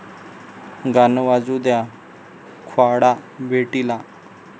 गाणं वाजू द्या...'ख्वाडा' भेटीला